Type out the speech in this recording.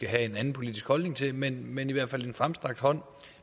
have en anden politisk holdning til men men i hvert fald en fremstrakt hånd